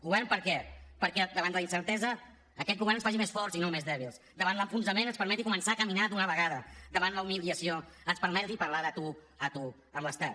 govern per a què perquè davant de la incertesa aquest govern ens faci més forts i no més dèbils davant l’enfonsament ens permeti començar a caminar d’una vegada davant la humiliació ens permeti parlar de tu a tu amb l’estat